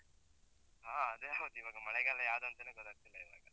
ಹ ಅದೇ ಹೌದು, ಇವಾಗ ಮಳೆಗಾಲ ಯಾವ್ದಂತಾನೇ ಗೊತ್ತಾಗ್ತಿಲ್ಲ